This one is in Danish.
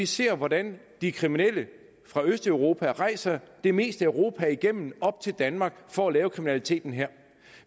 se hvordan de kriminelle fra østeuropa rejser det meste af europa igennem og kommer op til danmark for at lave kriminaliteten her